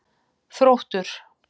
Þróttur